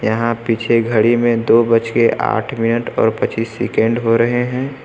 यहां पीछे घड़ी में दो बजके आठ मिनट और पच्चीस सेकंड हो रहे है।